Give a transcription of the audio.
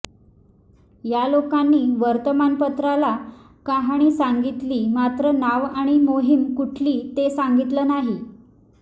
या लोकांनी वर्तमानपत्राला कहाणी सांगितली मात्र नाव आणि मोहीम कुठली ते सांगितलं नाही